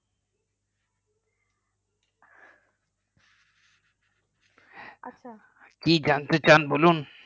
আচ্ছা কি জানতে চান বলুন